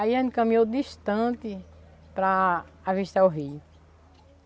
Aí a gente caminhou distante para avistar o rio.